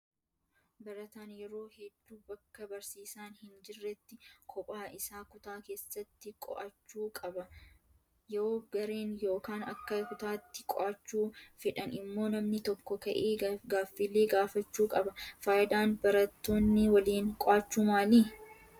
Barataan yeroo hedduu bakka barsiisaan hin jirretti kophaa isaa kutaa keessatti qo'achuu qaba. Yoo gareen yookaan akka kutaatti qo'achuu fedhan immoo namni tokko ka'ee gaaffilee gaafachuu qaba. Fayidaan barattoonni waliin qo'achuu maali?